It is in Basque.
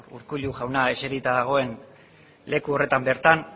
urkullu jauna eserita dagoen leku horretan bertan